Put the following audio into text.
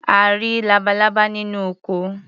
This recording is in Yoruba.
A rí labalábá nínú oko.